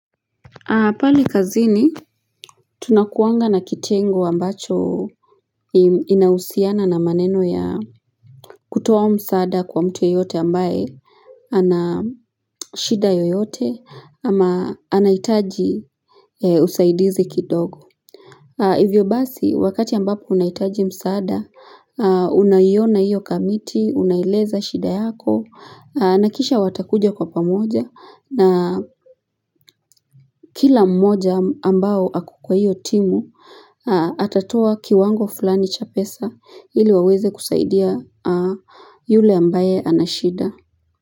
Pale kazini tunakuanga na kitengo ambacho inausiana na maneno ya kutoa msaada kwa mtu yeyote ambaye anashida yoyote ama anaitaji usaidizi kidogo hivyo basi wakati ambapo unaitaji msaada unayiona iyo kamiti unaeleza shida yako na kisha watakuja kwa pamoja na kila mmoja ambao ako kwa hiyo timu Atatoa kiwango fulani cha pesa ili waweze kusaidia yule ambaye anashida.